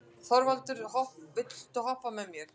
Þorvaldur, viltu hoppa með mér?